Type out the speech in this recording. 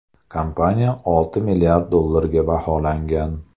Kompaniya olti milliard dollarga baholangan.